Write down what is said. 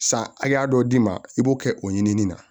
San hakɛya dɔ d'i ma i b'o kɛ o ɲinini na